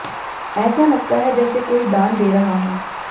ऐसा लगता है जैसे कोई दान दे रहा हो